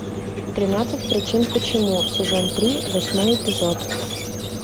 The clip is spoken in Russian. тринадцать причин почему сезон три восьмой эпизод